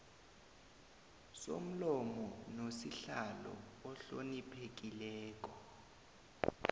somlomo nosihlalo ohloniphekileko